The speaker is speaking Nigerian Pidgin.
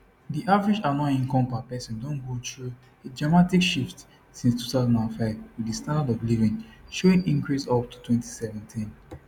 di average annual income per person don go through a dramatic shift since 2005 wit di standard of living showing increase up to 2017